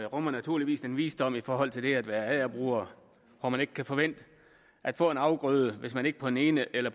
rummer naturligvis den visdom i forhold til det at være agerbruger at man ikke kan forvente at få en afgrøde hvis man ikke på den ene eller